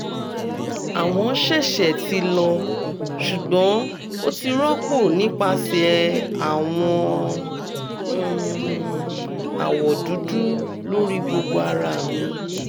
awọn sẹsẹ ti lọ ṣugbọn o ti rọpo nipasẹ awọn um awọ dudu lori gbogbo ara mi